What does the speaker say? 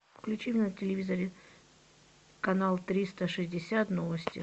включи на телевизоре канал триста шестьдесят новости